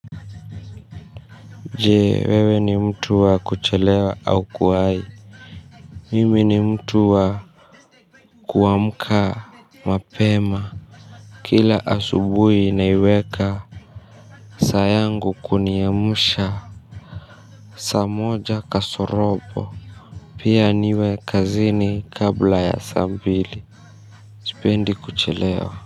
Je, wewe ni mtu wa kuchelewa au kuwai? Mimi ni mtu wa kuamka mapema. Kila asubui naiweka saa yangu kuniamsha saa moja kasorobo. Pia niwe kazini kabla ya saa mbili. Sipendi kuchelewa.